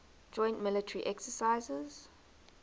joint military exercises